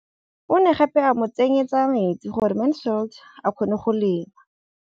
O ne gape a mo tsenyetsa metsi gore Mansfield a kgone go lema.